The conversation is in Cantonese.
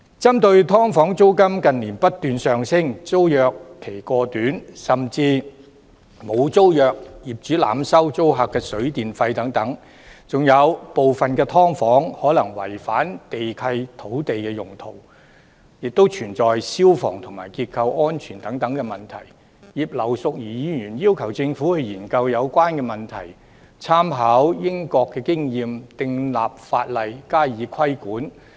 針對"劏房"租金近年不斷上升；租約期過短，甚至沒有租約；業主濫收租客水電費；部分"劏房"可能違反地契及土地用途，並存在消防和結構安全風險等問題，葉劉淑儀議員要求政府進行研究，參考英國經驗，訂立法例加以規管。